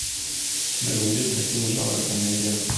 у тебя найдется фильм жанра комедия